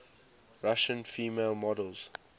russian female models